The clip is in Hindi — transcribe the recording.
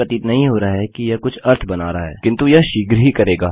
यह नहीं प्रतीत नहीं हो रहा है कि यह कुछ अर्थ बना रहा है किन्तु यह शीघ्र ही करेगा